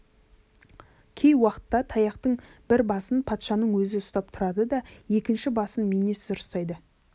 кей уақытта таяқтың бір басын патшаның өзі ұстап тұрады да екінші басын бірінші министр ұстайды